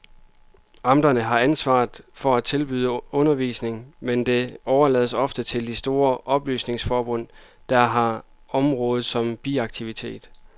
Amterne har ansvaret for at tilbyde undervisning, men det overlades ofte til de store oplysningsforbund, der har området som biaktivitet.